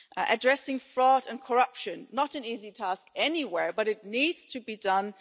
Addressing fraud and corruption is not an easy task anywhere, but it needs to be done.